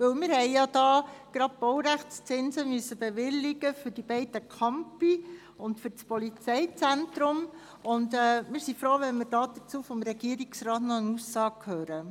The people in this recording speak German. Wir mussten ja die Baurechtszinse für die beiden Campus und für das Polizeizentrum bewilligen, und dazu möchten wir vom Regierungsrat gerne noch eine Aussage erhalten.